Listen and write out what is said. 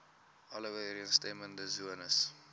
alle ooreenstemmende sones